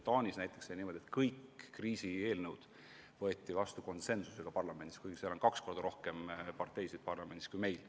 Taanis oli näiteks niimoodi, et kõik kriisieelnõud võeti parlamendis vastu konsensusega, kuigi seal on parlamendis kaks korda rohkem parteisid kui meil.